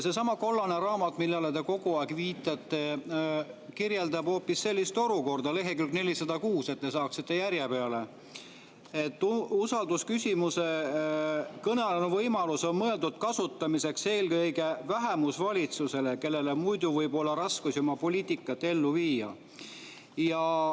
Seesama kollane raamat, millele te kogu aeg viitate, kirjeldab aga hoopis sellist olukorda – see on leheküljel 406, et te saaksite järje peale –, et kõnealune võimalus on mõeldud kasutamiseks eelkõige vähemusvalitsusele, kellel muidu võib olla raskusi oma poliitika ellu viimisega.